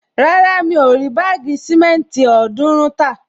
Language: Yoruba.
Rárá, mi ò rí báàgì sìmẹ́ntì ọ̀ọ́dúrún tà